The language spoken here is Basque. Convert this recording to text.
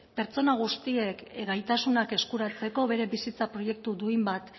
pertsona guztiek gaitasunak eskuratzeko beren bizitza proiektu duin bat